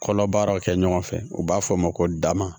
Kɔlɔbaaraw kɛ ɲɔgɔn fɛ u b'a fɔ ma ko da ma